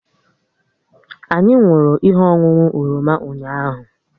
Anyị nwụrụ ihe ọṅụṅụ oroma ụnyaahụ